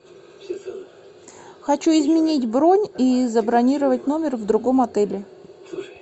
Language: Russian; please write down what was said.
хочу изменить бронь и забронировать номер в другом отеле